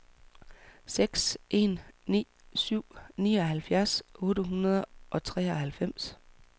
seks en ni syv nioghalvfjerds otte hundrede og treoghalvfems